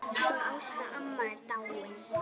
Hún Ásta amma er dáin.